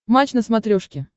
матч на смотрешке